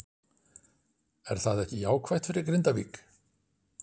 Er það ekki jákvætt fyrir Grindavík?